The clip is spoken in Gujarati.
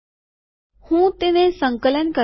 હું તેને સંકલન કરીશ